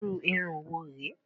Irú irun wo re?